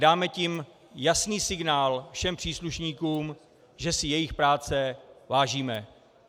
Dáme tím jasný signál všem příslušníkům, že si jejich práce vážíme.